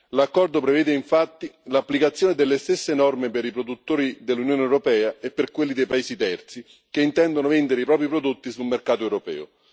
L'accordo prevede infatti l'applicazione delle stesse norme per i produttori dell'Unione europea e per quelli dei paesi terzi che intendono vendere i propri prodotti sul mercato europeo.